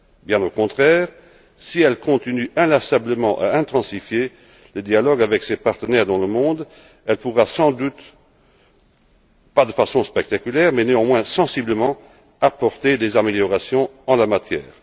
Bien au contraire, si l'Union continue inlassablement à intensifier le dialogue avec ses partenaires dans le monde, elle pourra sans doute, pas de façon spectaculaire mais néanmoins sensiblement, apporter des améliorations en la matière.